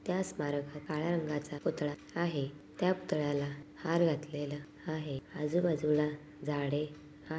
त्या स्मारकात काळ्या रंगाचा पुतळा आहे त्या पुतळ्याला हार घातलेला आहे आजूबाजूला झाडे आ --